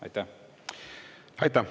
Aitäh!